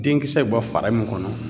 Denkisɛ bɔ fara min kɔnɔ